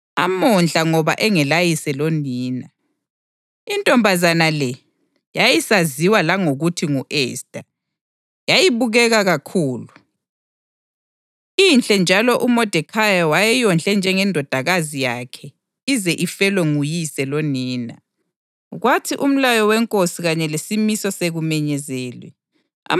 UModekhayi wayelomzawakhe okwakuthiwa nguHadasa, amondla ngoba engelayise lonina. Intombazana le yayisaziwa langokuthi ngu-Esta, yayibukeka kakhulu, inhle njalo uModekhayi wayeyondle njengendodakazi yakhe ize ifelwe nguyise lonina.